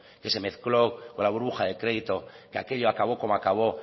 que se mezcló con la burbuja de crédito que aquello acabó como acabó